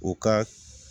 U ka